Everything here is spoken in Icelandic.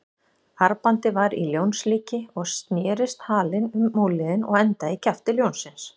Armbandið var í ljónslíki og snerist halinn um úlnliðinn og endaði í kjafti ljónsins.